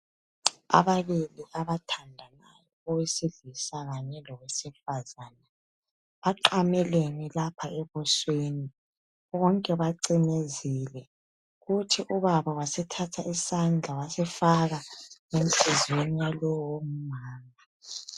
Ababili abathandanayo owesilisa kanye lowesifazana, baqamelene lapha ebusweni bonke bacimezile, kuthi ubaba wasethatha isandla wasifaka enhlizyweni yalowomama.